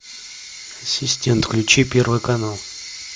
ассистент включи первый канал